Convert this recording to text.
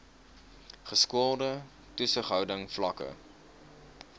geskoolde toesighouding vlakke